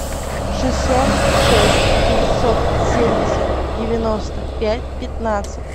шестьсот шесть девятьсот семьдесят девяносто пять пятнадцать